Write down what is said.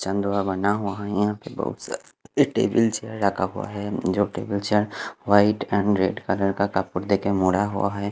बना हुआ है यहा पर बहोत सारे टेबल चेयर रखा हुआ है जो टेबल चेयर वाइट और रेड कलर का कपूर देके मुड़ा हुआ है।